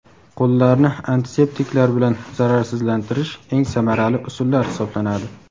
qo‘llarni antiseptiklar bilan zararsizlantirish eng samarali usullar hisoblanadi.